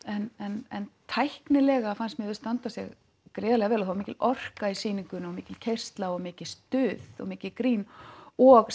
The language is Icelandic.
en tæknilega fannst mér þau standa sig gríðarlega vel og það var mikil orka í sýningunni mikil keyrsla mikið stuð og mikið grín og